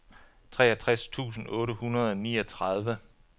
treogtres tusind otte hundrede og niogtredive